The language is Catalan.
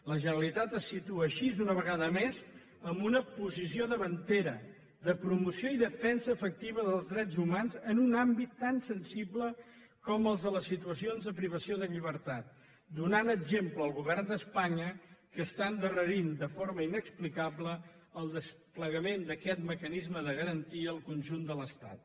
la generalitat es situa així una vegada més en una posició davantera de promoció i defensa efectiva dels drets humans en un àmbit tan sensible com el de les situacions de privació de llibertat i dóna exemple al govern d’espanya que endarrereix de forma inexplicable el desplegament d’aquest mecanisme de garantia al conjunt de l’estat